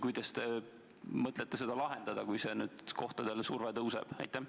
Kuidas te mõtlete seda lahendada, kui see kohtade nõudlus tõuseb?